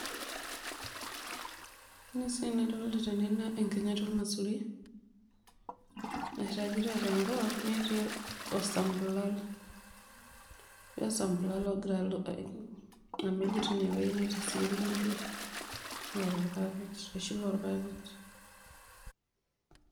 Ore siiyie enaa enidolta teene naa enkinyati ormaisuri nairagita tenkop netii osampulal. Etii osampulal ogira amej teine wueji netii sii orkunju oota irpapit oloshi lorpapit.